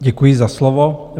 Děkuji za slovo.